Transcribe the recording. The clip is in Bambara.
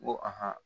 N ko